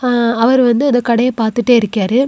ஆ அவர் வந்து அந்த கடையை பாத்துட்டே இருக்கேரு.